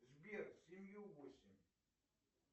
сбер семью восемь